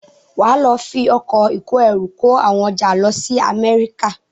Wàá lọ fi ọkọ̀ ìkóẹrù kó àwọn ọjà lọ sí Amẹ́ríkà.